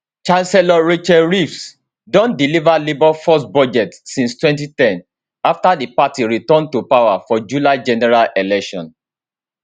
chancellor rachel reeves don deliver labour first budget since 2010 after di party return to power for july general election